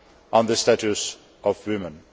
on the Status of Women.